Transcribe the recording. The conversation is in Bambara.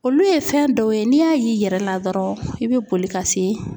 Olu ye fɛn dɔw ye n'i y'o y'i yɛrɛ la dɔrɔn, i bɛ boli ka se